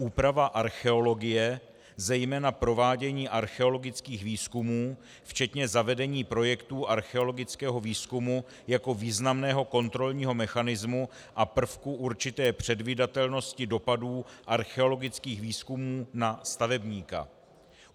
Úprava archeologie, zejména provádění archeologických výzkumů včetně zavedení projektů archeologického výzkumu jako významného kontrolního mechanismu a prvku určité předvídatelnosti dopadů archeologických výzkumů na stavebníka.